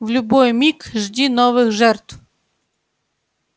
в любой миг жди новых жертв